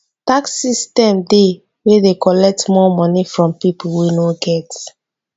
tax system dey wey de collect more money from pipo wey no get